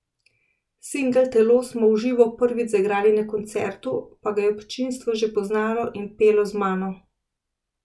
Singel Telo smo v živo prvič zaigrali na koncertu, pa ga je občinstvo že poznalo in pelo z mano.